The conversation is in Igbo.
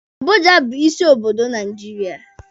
Abuja bu isi obodo Naijiria.